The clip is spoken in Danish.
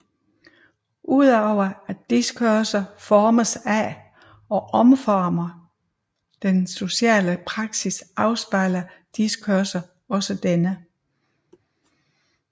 Udover at diskurser formes af og omformer den sociale praksis afspejler diskurser også denne